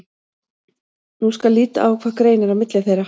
Nú skal líta á hvað greinir á milli þeirra.